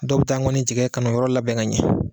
Dɔw bi taa ŋɔni tigɛ kan'o yɔrɔ labɛn ka ɲɛ